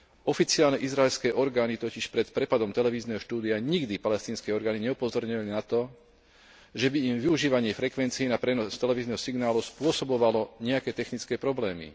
Oficiálne izraelské orgány totiž pred prepadom televízneho štúdia nikdy palestínske orgány neupozornili na to, že by im využívanie frekvencií na prenos televízneho signálu spôsobovalo nejaké technické problémy.